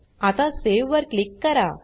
आता सावे वर क्लिक करा